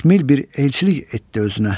Təkmil bir elçilik etdi özünə.